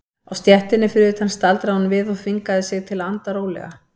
Á stéttinni fyrir utan staldraði hún við og þvingaði sig til að anda rólega.